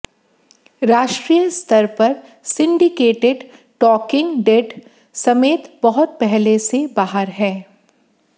राष्ट्रीय स्तर पर सिंडिकेटेड टॉकिंग डेड समेत बहुत पहले से बाहर हैं